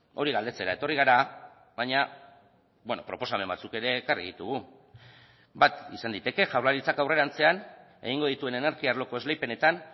hori galdetzera etorri gara baina proposamen batzuk ere ekarri ditugu bat izan daiteke jaurlaritzak aurrerantzean egingo dituen energia arloko esleipenetan